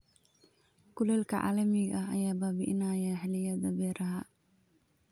Kulaylka caalamiga ah ayaa baabi'inaya xilliyada beeraha.